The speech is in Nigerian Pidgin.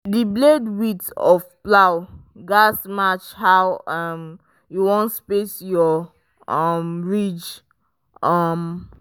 the blade width of plow gatz match how um you wan space your um ridge. um